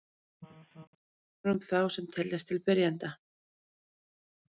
Öðru máli gegnir um þá sem teljast til byrjenda.